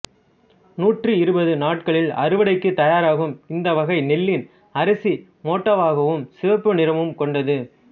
நூற்றி இருபது நாட்களில் அறுவடைக்கு தயாராகும் இந்த வகை நெல்லின் அரிசி மோட்டாவாகவும் சிவப்பு நிறமும் கொண்டது